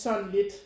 Sådan lidt